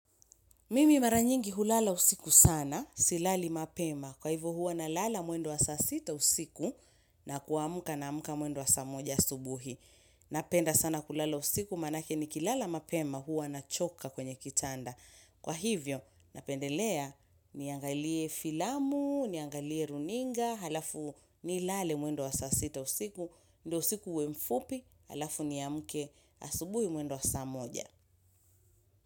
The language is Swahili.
Mimi mara nyingi hulala usiku sana silali mapema kwa hivyo huwa nalala mwendo wa saa sita usiku na kuamka naamka mwendo wa saa moja asubuhi. Napenda sana kulala usiku manake ni kilala mapema huwa nachoka kwenye kitanda. Kwa hivyo napendelea niangalie filamu, niangalie runinga, halafu nilale mwendo wa saa sita usiku, ndio usiku uwe mfupi, halafu niamke asubuhi mwendo wa saa moja.